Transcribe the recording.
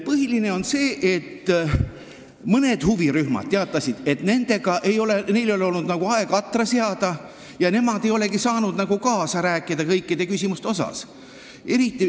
Põhiline on see, et mõned huvirühmad teatasid, et neil ei ole olnud aega atra seada ja nemad ei olegi saanud kõikides küsimustes kaasa rääkida.